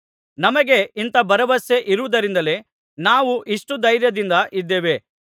ನಮಗೆ ಇಂಥ ಭರವಸೆ ಇರುವುದರಿಂದಲೇ ನಾವು ಇಷ್ಟು ಧೈರ್ಯದಿಂದ ಇದ್ದೇವೆ